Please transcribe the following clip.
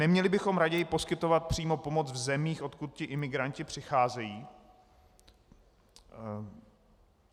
Neměli bychom raději poskytovat přímo pomoc v zemích, odkud ti imigranti přicházejí?